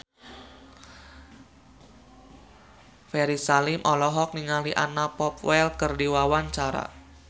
Ferry Salim olohok ningali Anna Popplewell keur diwawancara